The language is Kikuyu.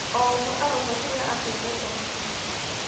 O ũmwe arauga kĩrĩa akĩendete makĩria.